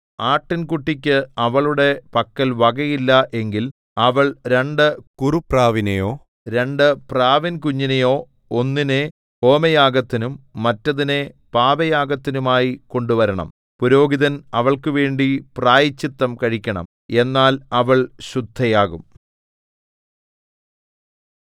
ആട്ടിൻകുട്ടിക്ക് അവളുടെ പക്കൽ വകയില്ല എങ്കിൽ അവൾ രണ്ടു കുറുപ്രാവിനെയോ രണ്ടു പ്രാവിൻകുഞ്ഞിനെയോ ഒന്നിനെ ഹോമയാഗത്തിനും മറ്റതിനെ പാപയാഗത്തിനുമായി കൊണ്ടുവരണം പുരോഹിതൻ അവൾക്കുവേണ്ടി പ്രായശ്ചിത്തം കഴിക്കണം എന്നാൽ അവൾ ശുദ്ധയാകും